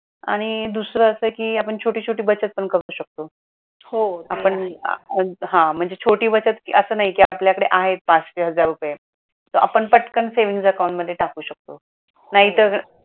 आणि दुसरा अस कि आपण छोटी छोटी बचत पण करू शकतो. आपण हा म्हणजे छोटी बचत असं नाही कि आपल्याकडे आहे पाचशे हजार रुपये तर आपण पटकन savings account मध्ये टाकू शकतो नाही तर